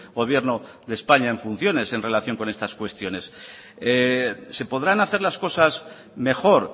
gobierno de españa en funciones en relación con estas cuestiones se podrán hacer las cosas mejor